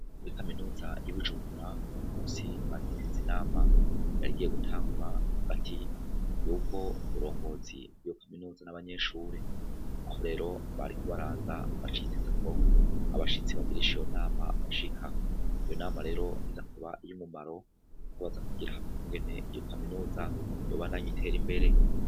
Kuri kaminuza y'i Bujumbura uno munsi bari biteze inama yari igiye gutangura hagati y'ubwo burongozi bw'iyo kaminuza n'abanyeshure. Aho rero bari kubaraza baciketse ko abashitsi bagirisha iyo nama bashika. Iyo nama rero iza kuba iy'umumaro kuko baza kwigira hamwe ingene iyo kaminuza yobandanya itera imbere.